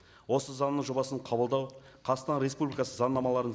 осы заңның жобасын қабылдау қазақстан республикасы заңнамаларын